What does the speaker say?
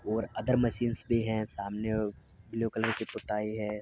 ओर other machines भी हैं। सामने ब्लू कलर की पुताई है।